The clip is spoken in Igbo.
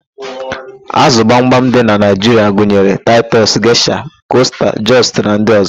Ázụ̀ gbamgbam dị na Naịjiria gunyere: taịtus, geshia, kosta, jọst na ndị ọ̀zọ́.